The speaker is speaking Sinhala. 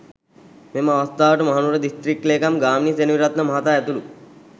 මෙම අවස්ථාවට මහනුවර දිස්ත්‍රික් ලේකම් ගාමිණී සෙනවිරත්න මහතා ඇතුළු